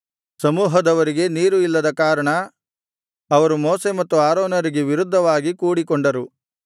ಸಮೂಹದವರಿಗೆ ನೀರು ಇಲ್ಲದ ಕಾರಣ ಅವರು ಮೋಶೆ ಮತ್ತು ಆರೋನರಿಗೆ ವಿರುದ್ಧವಾಗಿ ಕೂಡಿಕೊಂಡರು